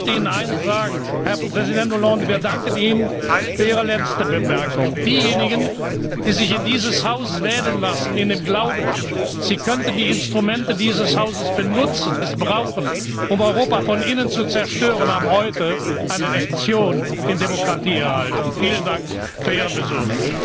Und ich möchte Ihnen eines sagen, Herr Präsident Hollande Wir danken Ihnen für Ihre letzte Bemerkung. Diejenigen, die sich in dieses Haus wählen lassen in dem Glauben, sie könnten die Instrumente dieses Hauses missbrauchen, um Europa von innen zu zerstören, haben heute eine Lektion in Demokratie erhalten. Vielen Dank für Ihren Besuch!